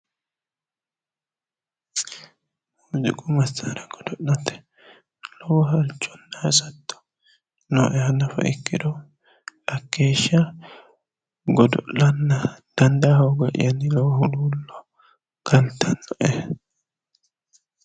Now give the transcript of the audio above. muziiqu massaara godo'late halchonna hasatto nooeha nafa ikkiro hakkeeshsha godo'lanna dandaa hooga'yanni lowo huluullo galtannoe.